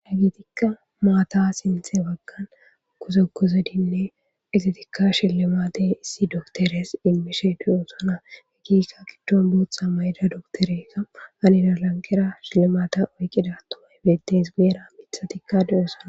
Matta sinitha baggani gozogozidine izatika shilimate issi docoteriayis imishe dossona qassi shilimatiya ekida docetereyi betesi guyera mithatika dossona